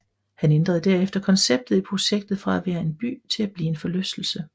Han ændrede herefter konceptet i projektet fra at være en by til at blive en forlystelse